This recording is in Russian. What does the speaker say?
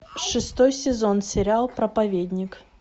шестой сезон сериал проповедник